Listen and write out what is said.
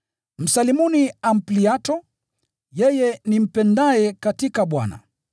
Msalimuni Ampliato, yeye nimpendaye katika Bwana.